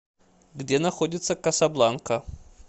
где находится касабланка